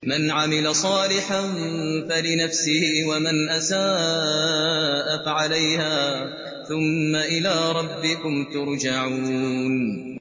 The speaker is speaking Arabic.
مَنْ عَمِلَ صَالِحًا فَلِنَفْسِهِ ۖ وَمَنْ أَسَاءَ فَعَلَيْهَا ۖ ثُمَّ إِلَىٰ رَبِّكُمْ تُرْجَعُونَ